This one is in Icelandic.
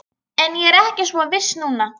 En ég er ekki svo viss núna